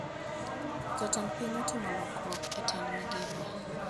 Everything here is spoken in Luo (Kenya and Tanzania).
Jatend piny otimo lokruok e tend migepe